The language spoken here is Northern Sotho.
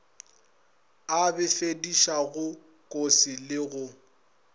a befedišago kose le go